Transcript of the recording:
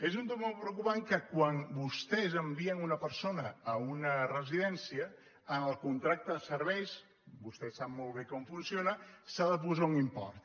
és un tema preocu·pant que quan vostès envien una persona a una resi·dència en el contracte de serveis vostè sap molt bé com funciona s’ha de posar un import